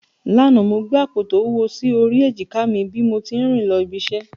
Lánàá, mo gbé àpò tó wúwo sí orí èjìká mi bí mo tí ń rìn lọ ibi iṣẹ́